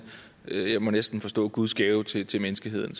må jeg næsten forstå guds gave til til menneskeheden